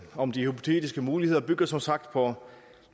om de hypotetiske muligheder bygger som sagt på